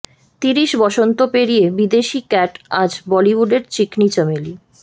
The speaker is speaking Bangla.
তিরিশ বসন্ত পেরিয়ে বিদেশি ক্যাট আজ বলিউডের চিকনি চামেলি